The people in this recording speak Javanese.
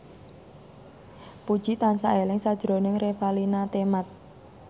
Puji tansah eling sakjroning Revalina Temat